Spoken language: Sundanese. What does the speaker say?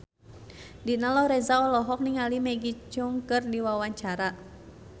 Dina Lorenza olohok ningali Maggie Cheung keur diwawancara